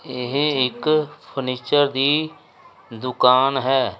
ਇਹ ਇੱਕ ਫਰਨੀਚਰ ਦੀ ਦੁਕਾਨ ਹੈ।